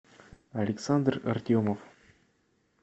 александр артемов